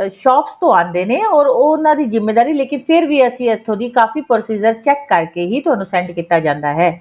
shops ਤੋਂ ਆਉਂਦੇ ਨੇ or ਉਹ ਉਹਨਾ ਦੀ ਜ਼ਿਮੇਵਾਰੀ ਲੇਕਿਨ ਫਿਰ ਵੀ ਅਸੀਂ ਇੱਥੋ ਦੀ ਕਾਫ਼ੀ procedure check ਕਰਕੇ ਹੀ ਤੁਹਾਨੂੰ send ਕੀਤਾ ਜਾਂਦਾ ਹੈ